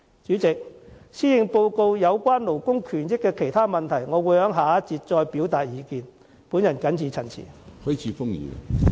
有關施政報告中勞工權益的其他問題，我會在下一個辯論環節再表達意見，我謹此陳辭。